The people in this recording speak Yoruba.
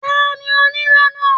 Tani onírọ́ náà?